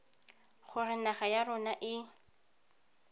gore naga ya rona e